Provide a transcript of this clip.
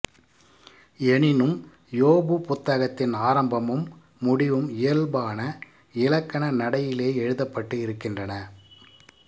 எனினும் யோபு புத்தகத்தின் ஆரம்பமும் முடிவும் இயல்பான இலக்கண நடையிலேயே எழுதப்பட்டு இருக்கின்றன